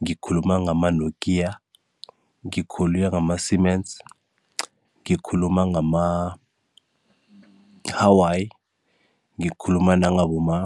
ngikhuluma-nokia, ngikhuluma-Siemens, ngikhuluma ngama-huawei, ngikhuluma ngama.